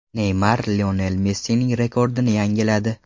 Neymar Lionel Messining rekordini yangiladi.